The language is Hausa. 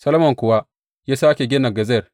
Solomon kuwa ya sāke gina Gezer.